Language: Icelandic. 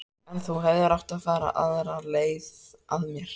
En þú hefðir átt að fara aðra leið að mér.